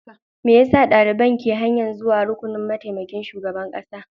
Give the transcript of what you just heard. Me yasa daliban ke kan hanyar zuwa rukunin mataimakin shugaban kasa?